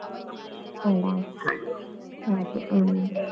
ಅಲ್ಲ ಹಾಗೆ ಹ್ಮ್.